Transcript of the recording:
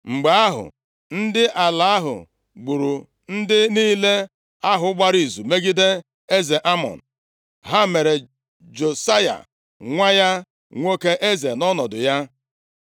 Mgbe ahụ, ndị ala ahụ gburu ndị niile ahụ gbara izu megide eze Amọn. Ha mere Josaya nwa ya nwoke eze nʼọnọdụ ya.